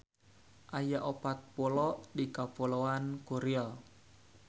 Aya opat pulo di Kapuloan Kuril.